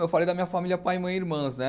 Eu falei da minha família pai, mãe e irmãs, né?